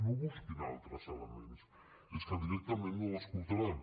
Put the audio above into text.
no busquin altres elements és que directament no ho escoltaran